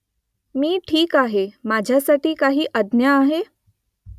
मी ठीक आहे . माझ्यासाठी काय आज्ञा आहे ?